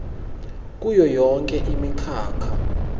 kuyo yonkhe imikhakha